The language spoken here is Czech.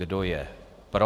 Kdo je pro?